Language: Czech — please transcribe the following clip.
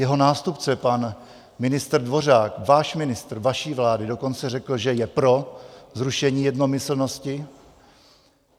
Jeho nástupce pan ministr Dvořák, váš ministr vaší vlády, dokonce řekl, že je pro zrušení jednomyslnosti.